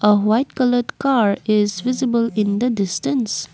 a white colour car is visible in the distance.